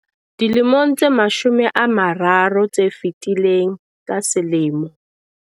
Dilemong tse mashome a mararo tse fetileng, ka selemo